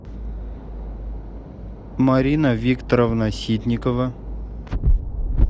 марина викторовна ситникова